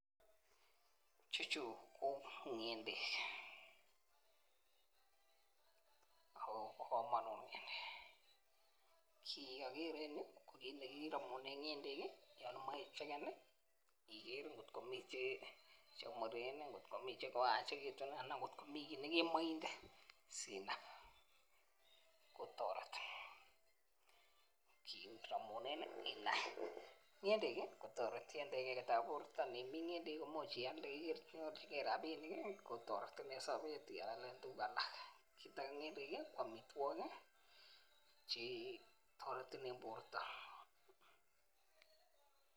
Chechu ko ngendek ako bo komonut ngendek kit neokere en yuu ko kit nekiromunen ngendek kii yon imoi ichekeni nii kotko mii chemuren nii kotko mii chekoyachektu an kotko mii kit nekemoche inde sinab kotoreti kiromunen inai. Ngendek kii kotoreti en teketab borto nimim ngendek komuch ialde inyorchinigee rabishek kotoretin en sobet ialen tukuk alak, kit age ngendek kii ko omitwokik chetoreti en borto.